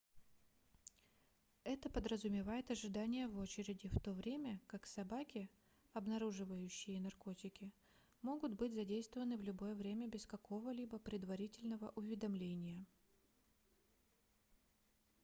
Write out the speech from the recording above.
это подразумевает ожидание в очереди в то время как собаки обнаруживающие наркотики могут быть задействованы в любое время без какого-либо предварительного уведомления